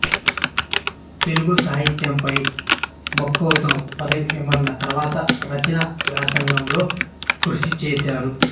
తెలుగు సాహిత్యంపై మక్కువతో పదవీ విరమణ తర్వాత రచనా వ్యాసంగంలో కృషిచేశారు